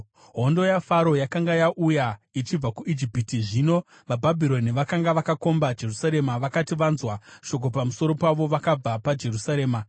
Hondo yaFaro yakanga yauya ichibva kuIjipiti, zvino vaBhabhironi vakanga vakakomba Jerusarema vakati vanzwa shoko pamusoro pavo, vakabva paJerusarema.